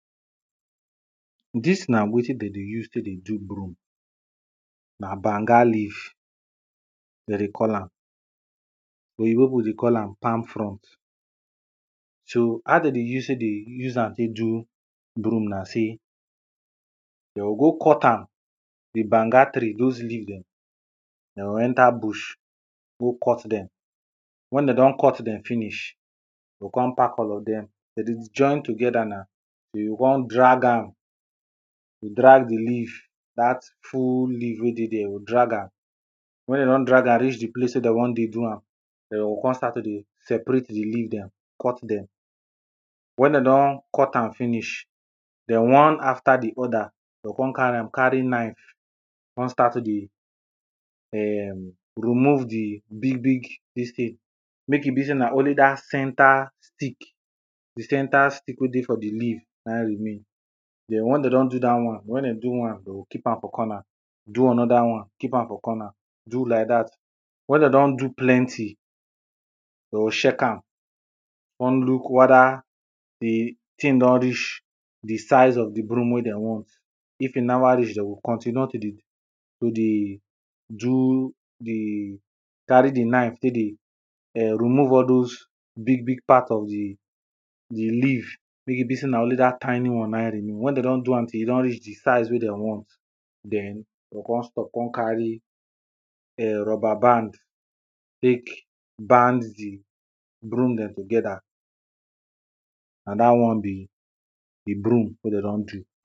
Dis na wetin dem dey use take dey do broom, na banga leaf dem dey call am, oyibo people dey call am palm frond. So how dem dey use take dey use am do dey do broom na sey, dem go go cut am, di banga tree those leaves dem, dem go enter bush, go cut dem. Wen dem don cut dem finish, dem come park all of dem, dem dey join together na, you go come drag am, drag di leaf, dat full leaf wey dey there, you go drag am. Wen you don drag am reach di place wey dem wan dey do am, dem go come start to dey separate di leave dem, cut dem, wen dem don cut am finish, den one after di other, dem go come carry am, carry knife, come start to dey [urn] remove di big big dis thing, make e be say na only dat centre stick, di centre stick wey dey for di leaf, na im remain. Den when dem don do dat one, wen dem do one, dem go keep am for corner, do another one, keep am for corner, do like dat. Wen dem don do plenty, dem go check am, come look whether di thing don reach di size of di broom wen dem want. di di leave, make e be sey na only dat tiny one na im remain, wen dem don do am till e don reach di size wen dem want, den dem go come stop, come carry [urn] rubberband take band di broom dem together, na dat one be di broom wey dem don do.